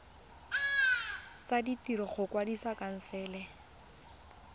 tsa ditiro go kwadisa khansele